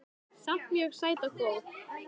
Samt mjög sæt og góð